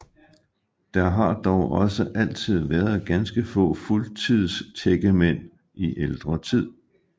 Der har dog også altid været ganske få fuldtidstækkemænd i ældre tid